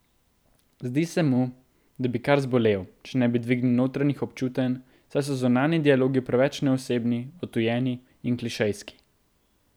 Zdi se mu, da bi kar zbolel, če ne bi dvignil notranjih občutenj, saj so zunanji dialogi preveč neosebni, odtujeni in klišejski.